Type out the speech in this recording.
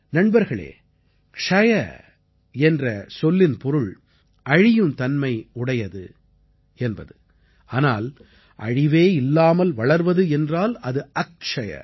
நண்பர்களே க்ஷய என்ற சொல்லின் பொருள் அழியும் தன்மை உடையது ஆனால் அழிவே இல்லாமல் வளர்வது என்றால் அது அக்ஷய்